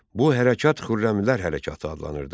Bu hərəkat Xürrəmilər hərəkatı adlanırdı.